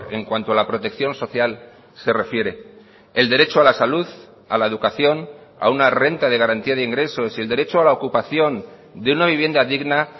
en cuanto a la protección social se refiere el derecho a la salud a la educación a una renta de garantía de ingresos y el derecho a la ocupación de una vivienda digna